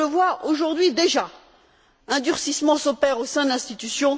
On le voit aujourd'hui déjà un durcissement s'opère au sein de l'institution